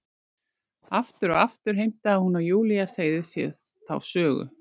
Aftur og aftur heimtaði hún að Júlía segði sér þá sögu.